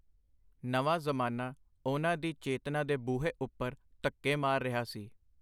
ਨਵਾਂ ਜ਼ਮਾਨਾ ਉਹਨਾਂ ਦੀ ਚੇਤਨਾ ਦੇ ਬੂਹੇ ਉਪਰ ਧੱਕੇ ਮਾਰ ਰਿਹਾ ਸੀ.